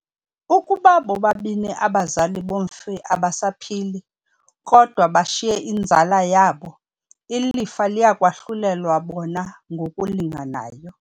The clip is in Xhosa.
Ukuba bobabini abazali bomfi abasaphili, kodwa bashiye inzala yabo, ilifa liya kwahlulelwa bona ngokulinganayo.